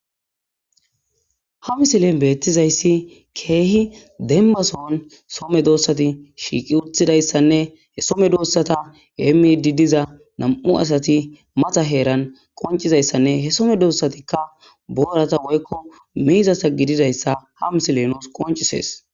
Ha misilen beetizayssi keehi demba son soo medosati shiiqi utidayssane he soo medosata heemiidi diza nam'u asati mata heeran qonccizayssanne he soo medosatikka boorata woyko miizata gidizayssa ha misiley nuus qonccisees.